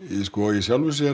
í sjálfu sér